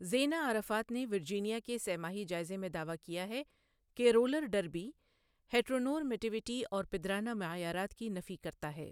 زینہ Arafat نے Virginia کے سہ ماہی جائزے میں دعویٰ کیا ہے کہ رولر ڈربی ہیٹرونورمیٹیوٹی اور پدرانہ معیارات کی نفی کرتا ہے۔